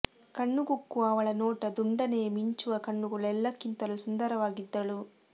ಕಣ್ಣು ಕುಕ್ಕುವ ಅವಳ ನೋಟ ದುಂಡನೆಯ ಮಿಂಚುವ ಕಣ್ಣುಗಳು ಎಲ್ಲಕ್ಕಿಂತಲೂ ಸುಂದರವಾಗಿದ್ದಳು